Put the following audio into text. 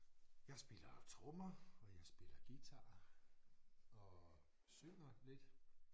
Jeg spiller trommer og jeg spiller guitar og synger lidt